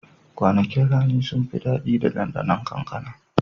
Kwanakin rani sun fi daɗi da ɗanɗanon kankana.